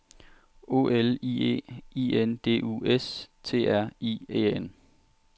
O L I E I N D U S T R I E N